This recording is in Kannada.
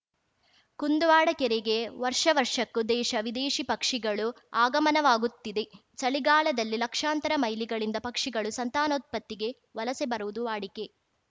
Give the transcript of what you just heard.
ಕುಂದುವಾಡ ಕೆರೆಗೆ ವರ್ಷ ವರ್ಷಕ್ಕೂ ದೇಶ ವಿದೇಶೀ ಪಕ್ಷಿಗಳು ಆಗಮನವಾಗುತ್ತಿವೆ ಚಳಿಗಾಲದಲ್ಲಿ ಲಕ್ಷಾಂತರ ಮೈಲಿಗಳಿಂದ ಪಕ್ಷಿಗಳು ಸಂತಾನೋತ್ಪತ್ತಿಗೆ ವಲಸೆ ಬರುವುದು ವಾಡಿಕೆ